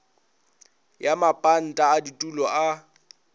ya mapanta a ditulo a